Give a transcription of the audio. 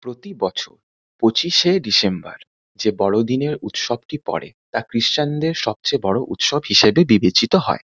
প্রতি বছর পঁচিশে ডিসেম্বর যে বড়দিনের উৎসবটি পরে তা খ্রিশ্চান -এর সবচেয়ে বড়ো উৎসব হিসেবে বিবেচিত হয়।